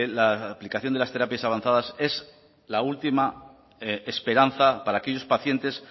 la aplicación de las terapias avanzadas es la última esperanza para aquellos pacientes